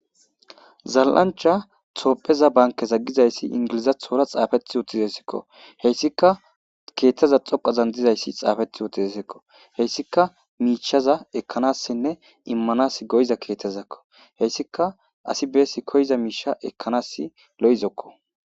zal7ancha topheza bankeza gizayssi ingilizathora xaafeti uttizessekko heyssika keeththeza xoqazan dizayssi xaafeti uttizesekko heyssika miicshaza ekkanassinne immanas goyiza keetezakko heyssika asi beesi koyza miisha ekkanassi lo7izokko.